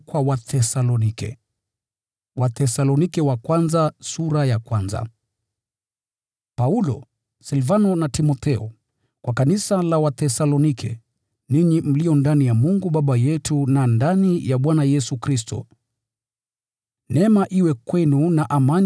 Paulo, Silvano na Timotheo: Kwa kanisa la Wathesalonike, ninyi mlio ndani ya Mungu Baba yetu na ndani ya Bwana Yesu Kristo: Neema iwe kwenu na amani.